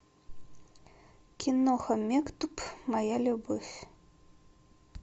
киноха мектуб моя любовь